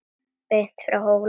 Beint frá Hólum.